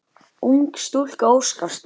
Ung stúlka óskast.